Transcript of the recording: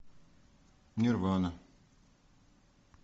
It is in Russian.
нирвана